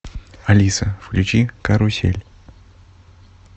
алиса включи карусель